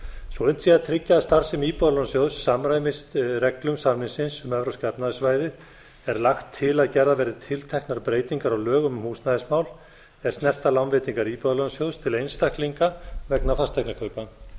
svo unnt sé að tryggja að starfsemi íbúðalánasjóðs samræmist reglum samningsins um evrópska efnahagssvæðið er lagt til að gerðar verði tilteknar breytingar á lögum um húsnæðismál er snerta lánveitingar íbúðalánasjóðs til einstaklinga vegna fasteignakaupa